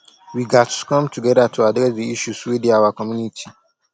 we gatz come together to address di issues wey dey our community